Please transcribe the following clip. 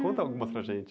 Conta algumas para a gente.